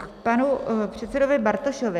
K panu předsedovi Bartošovi.